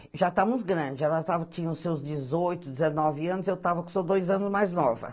Já estávamos grandes, elas tinham seus dezoito, dezenove anos, eu estava com os meus dois anos mais novas.